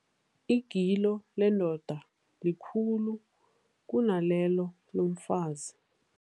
Igilo lendoda likhulu kunalelo lomfazi.